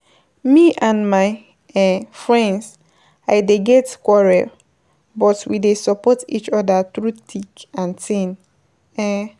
Me and my um friend I dey get quarrel, but we dey support each other through thick and thin. um